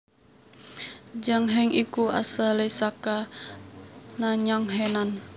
Zhang Heng iku asalé saka Nanyang Henan